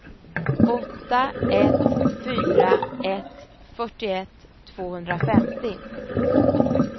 åtta ett fyra ett fyrtioett tvåhundrafemtio